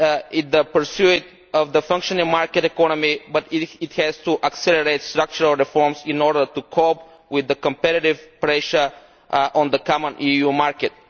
in its pursuit of the functioning market economy, but it has to accelerate structural reforms in order to cope with the competitive pressure on the common EU market.